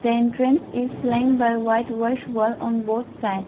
the entrance is flying by white wash wall on both side.